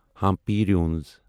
Hampi روٗنِس